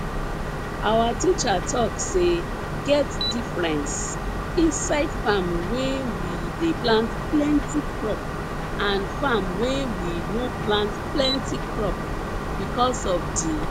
our teacher talk say get difference inside farm wey we dey plant plenti crop and farm wey we no plant plenti crop because of di